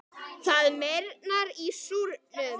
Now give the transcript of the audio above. Það meyrnar í súrnum.